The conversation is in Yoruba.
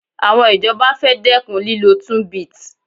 Àwọn ìjọba fẹ́ dẹ́kun lílọ tunbit